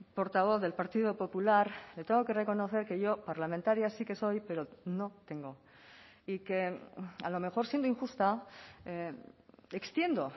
portavoz del partido popular le tengo que reconocer que yo parlamentaria sí que soy pero no tengo y que a lo mejor siendo injusta extiendo